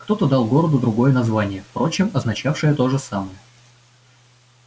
кто-то дал городу другое название впрочем означавшее то же самое